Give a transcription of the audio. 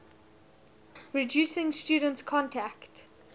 reducing students contact